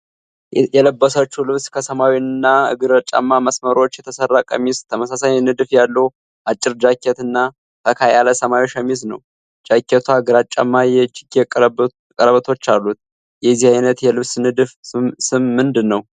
የለበሰችው ልብስ ከሰማያዊ እና ግራጫማ መስመሮች የተሰራ ቀሚስ፣ ተመሳሳይ ንድፍ ያለው አጭር ጃኬት እና ፈካ ያለ ሰማያዊ ሸሚዝ ነው። ጃኬቷ ግራጫማ የእጅጌ ቀለበቶች አሉት። የዚህ አይነት የልብስ ንድፍ ስም ምንድን ነው?